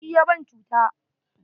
Shi ya ban cuta.